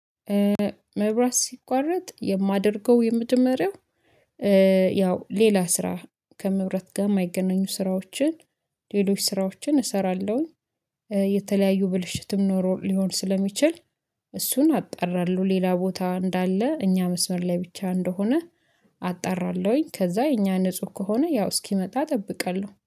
መብራት ሲቋረጥ የማደርገው የመጀመሪያው ያው ሌላ ስራ ከመብራት ጋር የማይገናኙ ስራዎችን ሌሎች ስራዎችን እሰራለሁኝ። የተለያዩ ብልሽትም ኖሮ ሊሆን ስለሚችል እሱን አጣራለሁ ሌላ ቦታ እንዳለ እኛ መስመር ላይ ብቻ እንደሆነ አጣራለሁኝ። ከዛ የኛ ንጹህ ከሆነ ያው እስኪመጣ እጠብቃለሁ